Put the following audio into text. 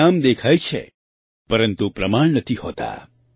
પરિણામ દેખાય છે પરંતુ પ્રમાણ નથી હોતાં